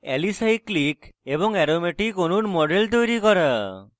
alicyclic alicyclic এবং aromatic aromatic অণুর models তৈরী করা